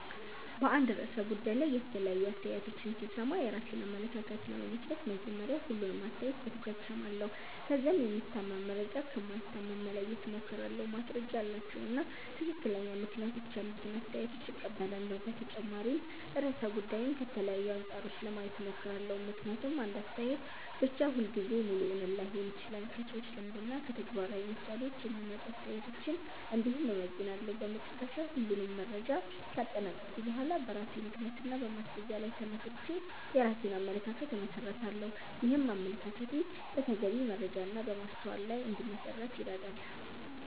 በአንድ ርዕሰ ጉዳይ ላይ የተለያዩ አስተያየቶችን ሲሰማ የራሴን አመለካከት ለመመስረት መጀመሪያ ሁሉንም አስተያየት በትኩረት እሰማለሁ። ከዚያም የሚታመን መረጃ ከማይታመን መለየት እሞክራለሁ፣ ማስረጃ ያላቸውን እና ትክክለኛ ምክንያቶች ያሉትን አስተያየቶች እቀበላለሁ። በተጨማሪም ርዕሰ ጉዳዩን ከተለያዩ አንጻሮች ለማየት እሞክራለሁ፣ ምክንያቱም አንድ አስተያየት ብቻ ሁልጊዜ ሙሉ እውነት ላይሆን ይችላል። ከሰዎች ልምድ እና ከተግባራዊ ምሳሌዎች የሚመጡ አስተያየቶችን እንዲሁም እመዘንላለሁ። በመጨረሻ ሁሉንም መረጃ ካጠናቀቅሁ በኋላ በራሴ ምክንያት እና በማስረጃ ላይ ተመስርቼ የራሴን አመለካከት እመሰርታለሁ። ይህም አመለካከቴ በተገቢ መረጃ እና በማስተዋል ላይ እንዲመሠረት ይረዳል።